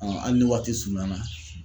hali ni waati surunyana